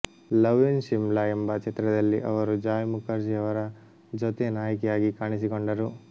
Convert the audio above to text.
love in Shimla ಎಂಬ ಚಿತ್ರದಲ್ಲಿ ಅವರು ಜಾಯ್ ಮುಖರ್ಜಿ ಅವರ ಜೊತೆ ನಾಯಕಿಯಾಗಿ ಕಾಣಿಸಿಕೊಂಡರು